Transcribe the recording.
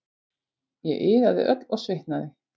Ég iðaði öll og svitnaði.